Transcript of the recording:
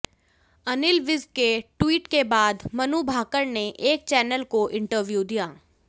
अनिल विज के ट्वीट के बाद मनु भाकर ने एक चैनल को इंटरव्यू दिया